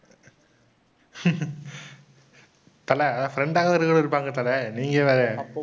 தல, அது friend ஆ கூட இருப்பாங்க தல. நீங்க வேற.